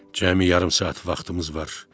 Cəmi yarım saat vaxtımız var.